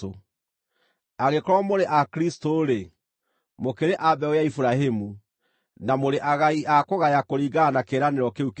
Angĩkorwo mũrĩ a Kristũ-rĩ, mũkĩrĩ a mbeũ ya Iburahĩmu, na mũrĩ agai a kũgaya kũringana na kĩĩranĩro kĩu kĩĩranĩirwo.